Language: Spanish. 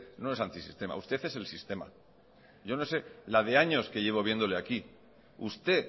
no es antisistema usted es el sistema yo no sé la de años que llevo viéndole aquí usted